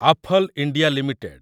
Affle India limited